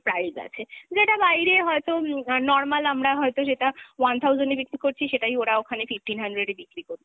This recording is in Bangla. price আছে। যেটা বাইরে হয়ত উম normal আমরা হয়তো সেটা one thousand এ বিক্রি করছি সেটাই ওরা ওখানে fifteen hundred এ বিক্রি করছে।